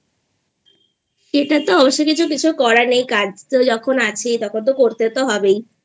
এটা তো অবশ্য কিছু করার নেই কাজ তো যখন আছেই তখন তো করতে তো হবেইI